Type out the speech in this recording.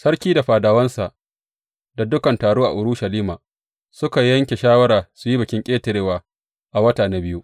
Sarki da fadawansa da dukan taro a Urushalima suka yanke shawara su yi Bikin Ƙetarewa a wata na biyu.